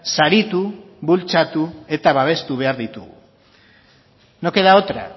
saritu bultzatu eta babestu behar ditugu no queda otra